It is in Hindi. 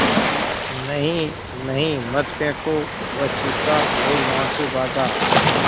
नहीं नहीं मत फेंको वह चीखा और वहाँ से भागा